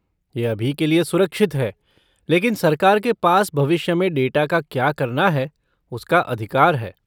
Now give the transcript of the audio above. यह अभी के लिए सुरक्षित है, लेकिन सरकार के पास भविष्य में डेटा का क्या करना है उसका अधिकार है।